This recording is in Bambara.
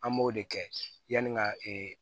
An b'o de kɛ yanni ka